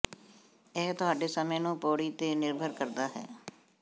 ਇਹ ਤੁਹਾਡੇ ਸਮੇਂ ਨੂੰ ਪੌੜੀ ਤੇ ਨਿਰਭਰ ਕਰਦਾ ਹੈ